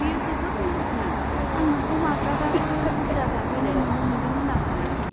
बेयो जोबोद मेहेरगोनां, आं नोंखौ माब्लाबाबो बुरजा जाफेरनाय नुनो मोनदों होन्ना सानाखै।